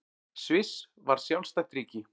Sviss varð sjálfstætt ríki.